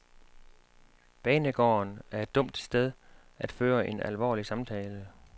Banegården er et dumt sted at føre en alvorlig samtale.